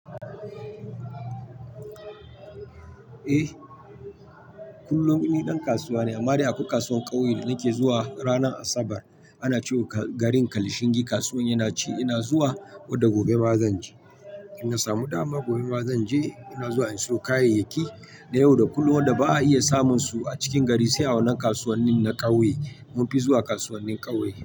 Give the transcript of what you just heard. Eh, kullum ni ɗan kasuwa ne amma dai akwai kasuwar ƙauye da nake zuwa ranar Asabar. Ana cewa garin Kalshingi kasuwan yana ci, ina zuwa, wadda gobe ba zan je. Inna samu dama gobe ba zan je, muna zuwa in siyo kayayyaki da yau da kullun da ba a iya samun su a cikin gari sai a wannan kasuwannin na ƙauye. Mun fi zuwa kasuwannin ƙauye.